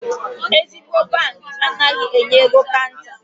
Ezigbo bankị anaghị enye ego kanta.